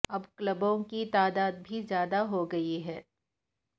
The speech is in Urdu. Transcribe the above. اب کلبوں کی تعداد بھی زیادہ ہو گئی ہے